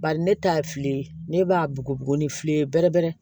Bari ne ta ye filɛli ye ne b'a bugubugu ni fili ye bɛrɛbɛrɛ